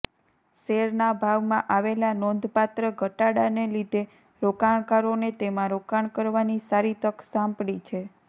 શેરના ભાવમાં આવેલા નોંધપાત્ર ઘટાડાના લીધે રોકાણકારોને તેમાં રોકાણ કરવાની સારી તક સાંપડી છે